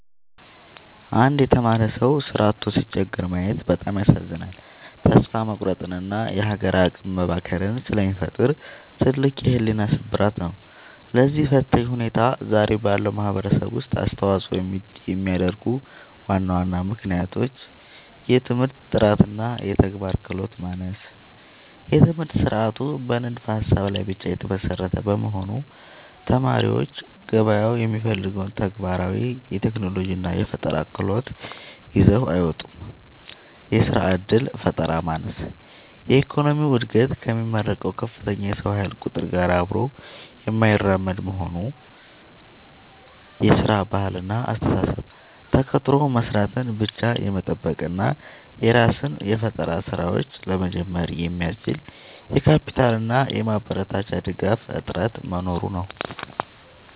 አንድ የተማረ ሰው ሥራ አጥቶ ሲቸገር ማየት በጣም ያሳዝናል፤ ተስፋ መቁረጥንና የሀገር አቅም መባከንን ስለሚፈጥር ትልቅ የሕሊና ስብራት ነው። ለዚህ ፈታኝ ሁኔታ ዛሬ ባለው ማኅበረሰብ ውስጥ አስተዋፅኦ የሚያደርጉ ዋና ዋና ምክንያቶች፦ የትምህርት ጥራትና የተግባር ክህሎት ማነስ፦ የትምህርት ሥርዓቱ በንድፈ-ሀሳብ ላይ ብቻ የተመሰረተ በመሆኑ፣ ተማሪዎች ገበያው የሚፈልገውን ተግባራዊ የቴክኖሎጂና የፈጠራ ክህሎት ይዘው አይወጡም። የሥራ ዕድል ፈጠራ ማነስ፦ የኢኮኖሚው ዕድገት ከሚመረቀው ከፍተኛ የሰው ኃይል ቁጥር ጋር አብሮ የማይራመድ መሆኑ። የሥራ ባህልና አስተሳሰብ፦ ተቀጥሮ መሥራትን ብቻ የመጠበቅ እና የራስን የፈጠራ ሥራዎች (Startup) ለመጀመር የሚያስችል የካፒታልና የማበረታቻ ድጋፍ እጥረት መኖሩ ነው።